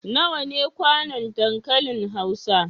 Nawa ne kwanon dankalin Hausa?